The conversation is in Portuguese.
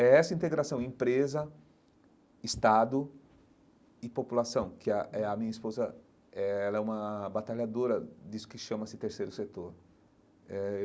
É essa integração empresa, Estado e população, que a eh a minha esposa é ela é uma batalhadora disso que chama-se terceiro setor eh.